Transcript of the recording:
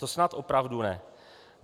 To snad opravdu ne.